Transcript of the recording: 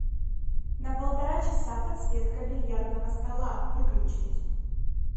на полтора часа подсветка бильярдного стола выключить